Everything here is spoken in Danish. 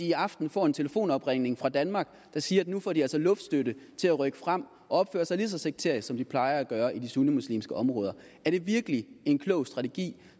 i aften får en telefonopringning fra danmark der siger at nu får de altså luftstøtte til at rykke frem og opføre sig lige så sekterisk som de plejer at gøre i de sunnimuslimske områder er det virkelig en klog strategi